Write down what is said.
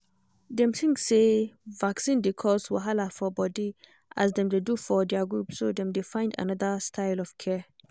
dem think say vaccine dey cause wahala for body as dem dey do for their group so dem dey find another style of care